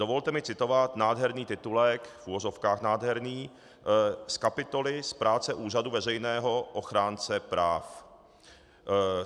Dovolte mi citovat nádherný titulek - v uvozovkách nádherný - z kapitoly z práce Úřadu veřejného ochránce práv.